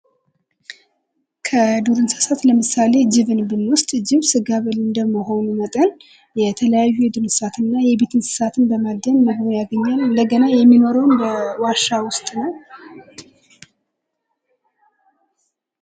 ከዱር እንስሳት ለምሳሌ ጅብን ብንወስድ ጅብ ጋብል እንደመሆኑ መጠን የተለያዩ የዱር እንስሳትን እና የቤት እንስሳትን በማደን ምግብ ያገኛል። እንደገና የሚኖረውም በዋሻ ውስጥ ነው።